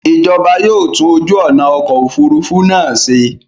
Ìjọba yóò tún ojú ọ̀nà ọkọ̀ òfurufú náà ṣe.